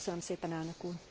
Köszönöm szépen, Elnök Úr!